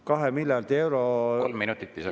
Kolm minutit lisaks.